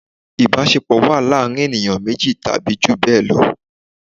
Ìbásepọ̀ wà láàrín ènìyàn méjì tàbí jù bẹ́ẹ̀ lọ